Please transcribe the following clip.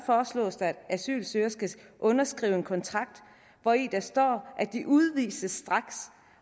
foreslås det at asylansøgere skal underskrive en kontrakt hvori der står at de udvises straks